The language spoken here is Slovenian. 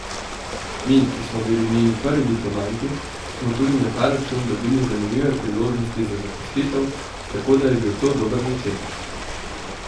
Mi, ki smo bili njeni prvi diplomanti, smo tudi na ta račun dobili zanimive priložnosti za zaposlitev, tako da je bil to dober začetek.